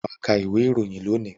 Wà ka ìwé-ìròyìn lónìí!